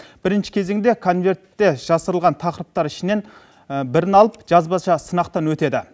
бірінші кезеңде конвертте жасырылған тақырыптар ішінен бірін алып жазбаша сынақтан өтеді